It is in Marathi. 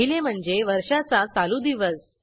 पहिले म्हणजे वर्षाचा चालू दिवस